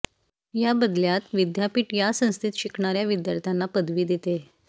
या बदल्यात विद्यापीठ या संस्थेत शिकणार्या विद्यार्थ्यांना पदवी देते